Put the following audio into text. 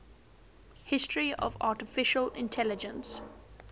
history of artificial intelligence